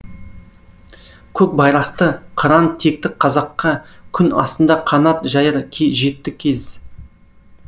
көк байрақты қыран текті қазаққа күн астында қанат жаяр жетті кез